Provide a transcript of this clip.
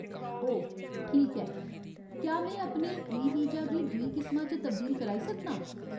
ओह्, ठीक ऐ। क्या में अपने ई वीजा गी दूई किसमा च तब्दील कराई सकनां ?